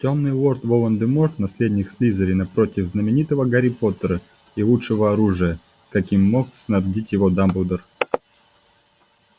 тёмный лорд волан-де-морт наследник слизерина против знаменитого гарри поттера и лучшего оружия каким мог снабдить его дамблдор